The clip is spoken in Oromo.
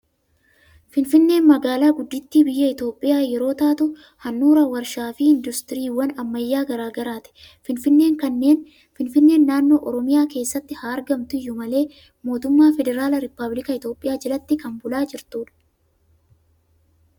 Finfinneen magaalaa guddittii biyya Itoophiyaa yeroo taatu, handhuura waarshaa fi industiriiwwan ammayyaa garaa garaati. Finfinneen naannoo Oromiyaa keessatti haa argamtu iyyuu malee, mootummaa Federaalaa Rippaabiliika Itoophiyaa jalatti kan bulaa jirtudha.